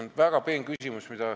See on väga peen küsimus.